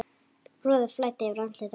Roði flæddi yfir andlit hans.